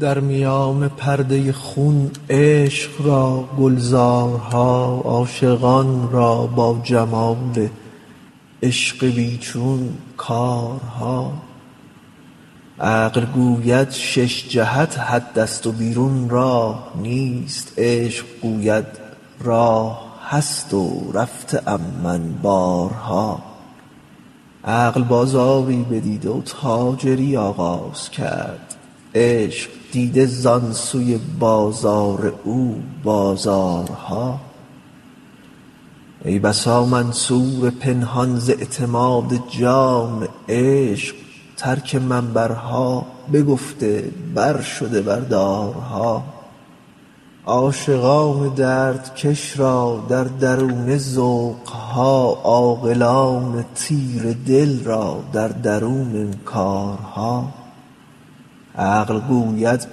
در میان پرده خون عشق را گلزارها عاشقان را با جمال عشق بی چون کارها عقل گوید شش جهت حدست و بیرون راه نیست عشق گوید راه هست و رفته ام من بارها عقل بازاری بدید و تاجری آغاز کرد عشق دیده زان سوی بازار او بازارها ای بسا منصور پنهان ز اعتماد جان عشق ترک منبرها بگفته برشده بر دارها عاشقان دردکش را در درونه ذوق ها عاقلان تیره دل را در درون انکارها عقل گوید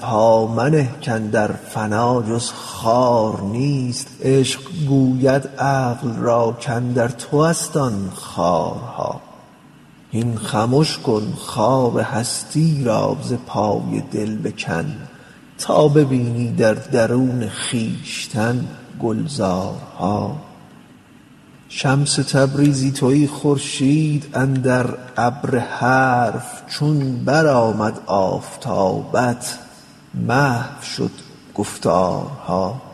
پا منه کاندر فنا جز خار نیست عشق گوید عقل را کاندر توست آن خارها هین خمش کن خار هستی را ز پای دل بکن تا ببینی در درون خویشتن گلزارها شمس تبریزی تویی خورشید اندر ابر حرف چون برآمد آفتابت محو شد گفتارها